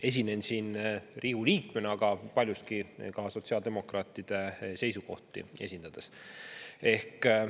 Esinen siin Riigikogu liikmena, aga paljuski ka sotsiaaldemokraatide seisukohti esindades.